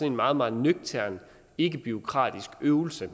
en meget meget nøgtern ikkebureaukratisk øvelse